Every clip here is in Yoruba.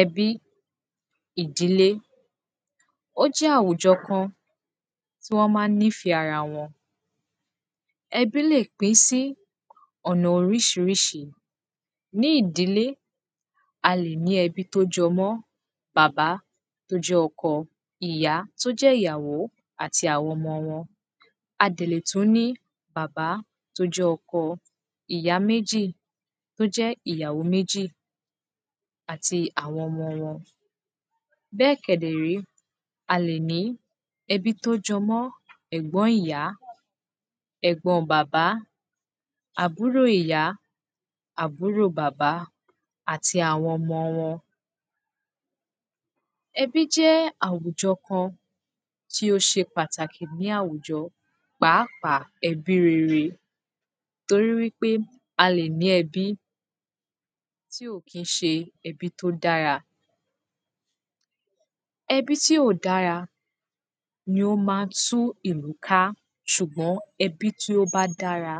ẹbi, ìdílé ó jẹ́ àwùjọ kan tí wọ́n maa nîfẹ́ ara wọn ẹbí lè pín sí ọ̀nà orísirísi ní ìdílé, a lè ní ẹbí tí ó jọ mọ́ bàbá tí ó jẹ́ ọkọ ìyá tí ó jẹ́ ìyàwó àti àwọn ọmọ wọn a dẹ̀ tún lè ní bàbá, tí ó jẹ́ ọkọ ìyá tí ó jẹ ìyàwó àti àwọn ọmọ wọn won béè kẹ̀dẹ̀ré a lè ní ẹbí tí ó jọ mọ́ ẹ̀gbọ́n on ìyá, ẹgbọn on bàbá, àbúrò ìya, àbúrò bàbá àti àwọn ọmọ wọn ẹbí jẹ́ àwùjọ kan tí ó se pàtàkì ní àwùjọ pàápàá ẹbí rere torí pé a lè ní ẹbí tí ò kín se ẹbí tí ó dára ẹbí tí ò dára ni ó maa ń tú ìlú ká sùgbọ́n ẹbí tí ó bá dára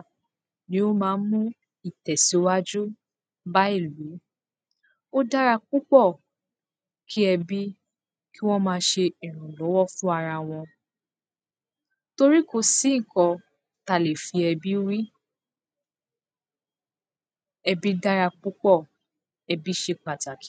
ni ó maa ń mú ìtèsí wájú bá ìlú ó dára púpọ̀ kí ebí kí wón má se ìrànlówó fún ara wọn torí kòsí ǹkan, tí a lè fi ẹbí wé ẹbí dára púpọ̀, ẹbí se pàtàki